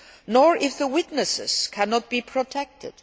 ICC nor if the witnesses cannot be protected